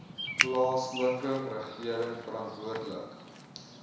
plaaslike regering verantwoordelik